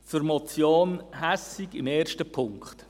Zur Motion Hässig im ersten Punkt: